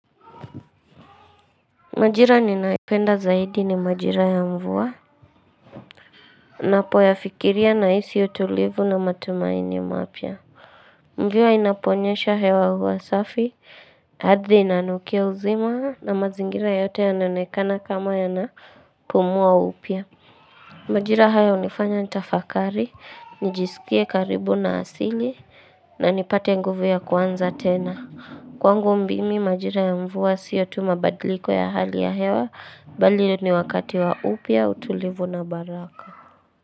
Majira ninaipenda zaidi ni majira ya mvua Napo yafikiria na isi utulivu na matumaini mapia Mvua inaponyesha hewa huwa safi, ardhi inanukia uzima, na mazingira yote yananoekana kama yanapumua upya Majira haya hunifanya nitafakari, nijisikie karibu na asil, i na nipate nguvu ya kuanza tena Kwangu mbimi majira ya mvua sio tu mabadiliko ya hali ya hewa, mbali ni wakati wa upya utulivu na baraka.